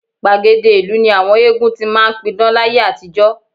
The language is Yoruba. Gbàgede ìlú ni àwọn eégún ti máa ń pidán láyé àtijọ́